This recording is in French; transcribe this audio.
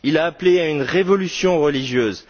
Il a appelé à une révolution religieuse.